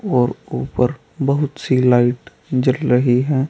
और ऊपर बहुत सी लाइट जल रही है।